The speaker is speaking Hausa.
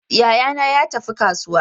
Yayana ya tafi kasuwa.